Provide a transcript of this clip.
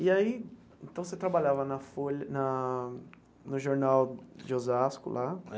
E aí então você trabalhava na Folha na no Jornal de Osasco lá?